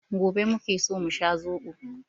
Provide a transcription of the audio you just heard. Gobe muke so mu sha zobo.